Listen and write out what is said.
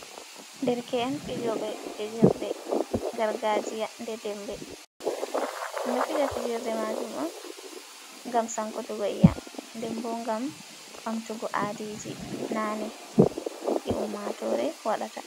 Derke’en fijooɓe fijerde gargajiya, nde dembe, ɗum ɗo fija fijirde maajum on, ngam sankutugo i'yam, nden ɓo ngam ɓamtugo aadiji naane ɗi ummaatore waɗata.